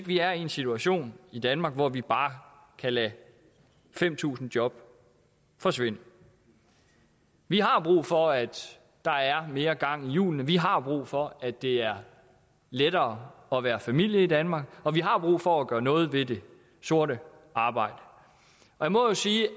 vi er i en situation i danmark hvor vi bare kan lade fem tusind job forsvinde vi har brug for at der er mere gang i hjulene vi har brug for at det er lettere at være familie i danmark og vi har brug for at gøre noget ved det sorte arbejde jeg må jo sige